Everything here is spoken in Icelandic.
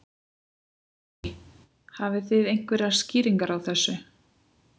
Lillý: Hafið þið einhverjar skýringar á þessu?